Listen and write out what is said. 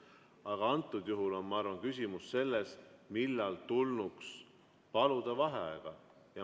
Aga antud juhul, ma arvan, on küsimus selles, millal tulnuks paluda vaheaega.